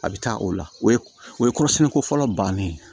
A bɛ taa o la o ye kɔrɔsɛnni ko fɔlɔ bannen ye